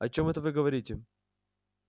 о чём это вы говорите